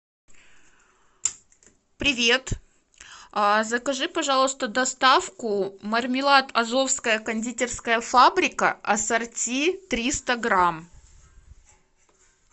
привет закажи пожалуйста доставку мармелад азовская кондитерская фабрика ассорти триста грамм